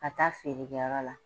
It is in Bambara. Ka taa feerekɛyɔrɔ la